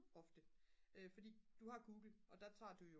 ofte fordi du har google og der tager du jo